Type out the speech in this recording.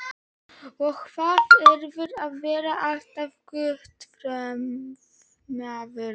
Og hvað þýðir að vera alltaf grútfornemaður?